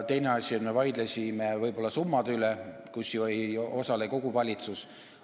Teine asi oli see, et me vaidlesime võib-olla summade üle, ja selles ei osale ju kogu valitsus.